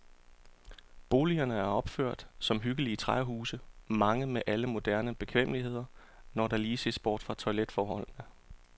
Boligerne er opført som hyggelige træhuse, mange med alle moderne bekvemmeligheder, når der lige ses bort fra toiletforholdene.